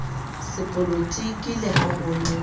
sepolotiki le ha ho ne